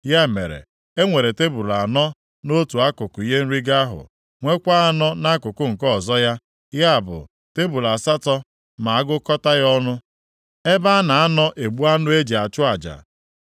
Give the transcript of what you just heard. Ya mere, e nwere tebul anọ nʼotu akụkụ ihe nrigo ahụ, nwekwa anọ nʼakụkụ nke ọzọ ya, ya bụ, tebul asatọ ma agụkọta ya ọnụ, ebe a na-anọ egbu anụ e ji achụ aja.